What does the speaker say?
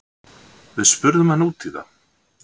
Við spurðum hann út í það.